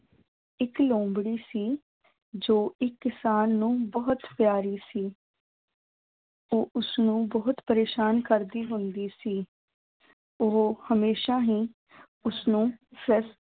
ਇੱਕ ਲੂੰਬੜੀ ਸੀ ਜੋ ਇੱਕ ਕਿਸਾਨ ਨੂੰ ਬਹੁਤ ਪਿਆਰੀ ਸੀ ਉਹ ਉਸਨੂੰ ਬਹੁਤ ਪਰੇਸਾਨ ਕਰਦੀ ਹੁੰਦੀ ਸੀ, ਉਹ ਹਮੇਸ਼ਾ ਹੀ ਉਸਨੂੰ